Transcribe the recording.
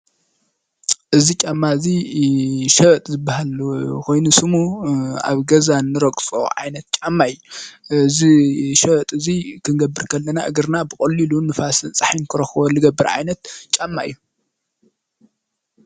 እዚ ጫማ እዚ ሸበጥ ዝበሃል ኮይኑ ስሙ ኣብ ገዛ እንረግፆ ዓይነት ጫማ እዩ::እዚ ሸበጥ እዚ ክንገብር ከለና እግርና ብቀሊሉ ንፋስ ፀሓይን ክረክቦን ገብር ዓይነት ጫማ እዩ::